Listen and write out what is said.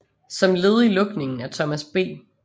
Som led i lukningen af Thomas B